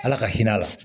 Ala ka hinɛ a la